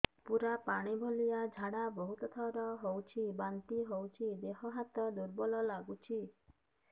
ପୁରା ପାଣି ଭଳିଆ ଝାଡା ବହୁତ ଥର ହଉଛି ବାନ୍ତି ହଉଚି ଦେହ ହାତ ଦୁର୍ବଳ ଲାଗୁଚି